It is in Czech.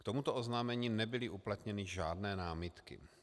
K tomuto oznámení nebyly uplatněny žádné námitky.